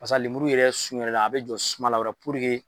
Paseke a lemuru yɛrɛ sun yɛrɛ, a be jɔ suma la dɔrɔn